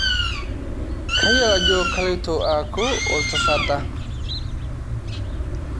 kayiolo ajo kaloito aaku oltsata